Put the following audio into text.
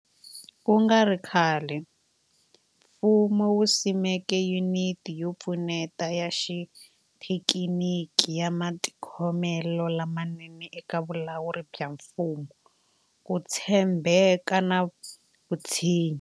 Ku nga ri khale, mfumo wu simeke Yuniti yo Pfuneta ya Xithekiniki ya Matikhomelo lamanene eka Vulawuri bya Mfumo, Ku tshembeka na Vutshinyi.